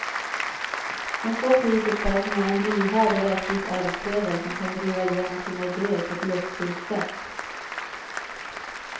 Hon får priset för att hon är en lyhörd och rättvis arbetsledare som kan driva igenom sina idéer på ett lustfyllt sätt.